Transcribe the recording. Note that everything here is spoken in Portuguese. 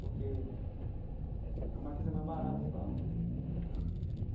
Porque eh o Mackenzie é mais barato e tal.